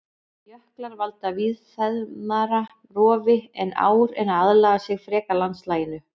Jöklar valda víðfeðmara rofi en ár en aðlaga sig frekar landslaginu.